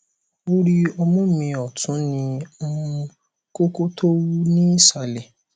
orí ọmú mi ọtún ní um kókó tó wú ní ìsàlẹ